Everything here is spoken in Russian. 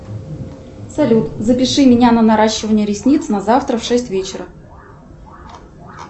салют запиши меня на наращивание ресниц на завтра в шесть вечера